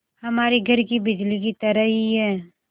हमारे घर की बिजली की तरह ही है